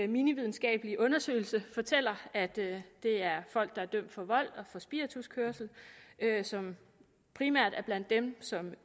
minividenskabelige undersøgelse fortæller at det er folk der er dømt for vold og for spirituskørsel som primært er blandt dem som